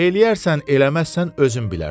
Eləyərsən, eləməzsən özün bilərsən.